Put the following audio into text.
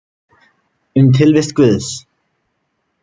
Um tilvist Guðs.